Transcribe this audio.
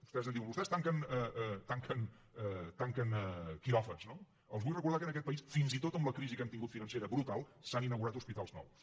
vostès em diuen vostès tanquen quiròfans no els vull recordar que en aquest país fins i tot amb la crisi que hem tingut financera brutal s’han inaugurat hospitals nous